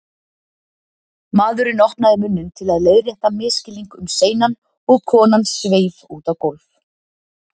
Maðurinn opnaði munninn til að leiðrétta misskilning um seinan og konan sveif út á gólf.